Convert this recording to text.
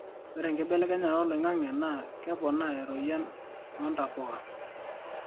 ore enkibelekenya oloingangi naa keponaa eroyian oontapuka